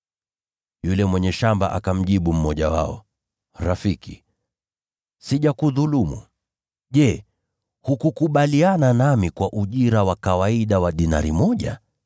“Yule mwenye shamba akamjibu mmoja wao, ‘Rafiki, sijakudhulumu. Je, hukukubaliana nami kwa ujira wa kawaida wa dinari moja?